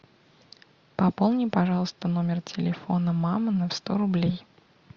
пополни пожалуйста номер телефона мамы на сто рублей